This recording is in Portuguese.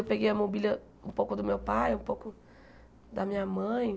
Eu peguei a mobília um pouco do meu pai, um pouco da minha mãe.